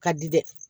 Ka di dɛ